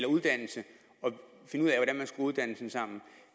uddannelse at uddannelsen sammen